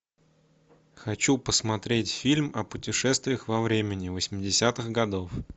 хочу посмотреть фильм о путешествиях во времени восьмидесятых годов